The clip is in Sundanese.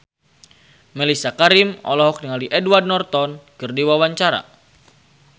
Mellisa Karim olohok ningali Edward Norton keur diwawancara